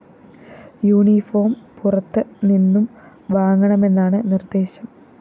uniform പുറത്ത് നിന്നും വാങ്ങണമെന്നാണ് നിര്‍ദേശം